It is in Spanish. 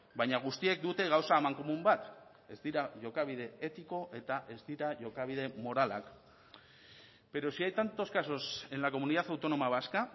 baina guztiek dute gauza amankomun bat ez dira jokabide etiko eta ez dira jokabide moralak pero si hay tantos casos en la comunidad autónoma vasca